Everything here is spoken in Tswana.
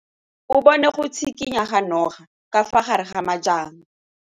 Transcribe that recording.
O bone go tshikinya ga noga ka fa gare ga majang.